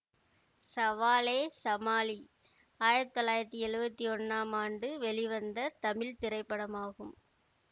சவாலே சமாளி ஆயிரத்தி தொள்ளாயிரத்தி எழுவத்தி ஒன்னாம் ஆண்டு வெளிவந்த தமிழ் திரைப்படமாகும்